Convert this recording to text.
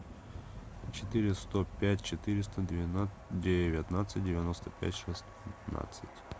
четыре сто пять четыреста девятнадцать девяносто пять шестнадцать